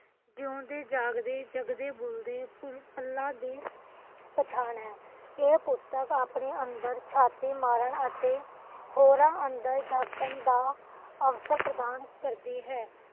ਜਿਉੰਦੇ ਜਾਗਦੇ ਜਗਦੇ ਬੁਝਦੇ ਫੁਲਾਂ ਦੀ ਪਛਾਣ ਹੈ ਇਹ ਪੁਸਤਕ ਆਪਣੇ ਅੰਦਰ ਝਾਤੀ ਮਾਰਨ ਅਤੇ ਹੋਰਾਂ ਅੰਦਰ ਝਾਕਣ ਦਾ ਅਵਸਰ ਪ੍ਰਾਪਤ ਕਰਦੀ ਹੈ